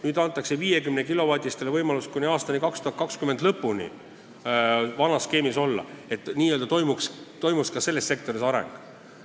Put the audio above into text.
Nüüd antakse 50-kilovatistele võimalus kuni aasta 2020 lõpuni vanas skeemis olla, et toimuks ka selles sektoris areng.